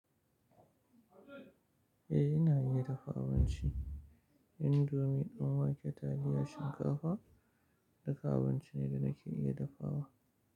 Eh, ina iya dafa abinci. Indomie ɗin wake, taliyar shinkafa, duka abinci ne da nake iya dafawa.